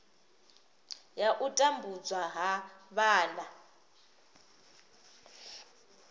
ya u tambudzwa ha vhana